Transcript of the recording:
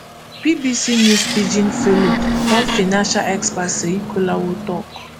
bbc news pidgin follow one financial expert seyi kolawole tok